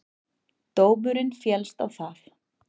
Dómurinn féllst á það.